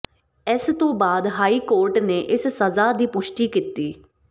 ਇਸ ਤੋਂ ਬਾਅਦ ਹਾਈ ਕੋਰਟ ਨੇ ਇਸ ਸਜ਼ਾ ਦੀ ਪੁਸ਼ਟੀ ਕੀਤੀ